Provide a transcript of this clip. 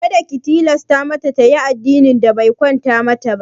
Kada ki tilasta mata tayi addinin da be kwanta mata ba!